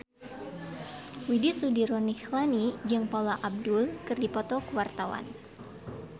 Widy Soediro Nichlany jeung Paula Abdul keur dipoto ku wartawan